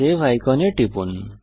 save আইকনে টিপুন